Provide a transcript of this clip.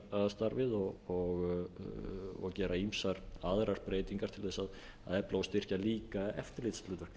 að opna nefndarstarfið og gera ýmsar aðrar breytingar til að efla og styrkja líka eftirlitshlutverk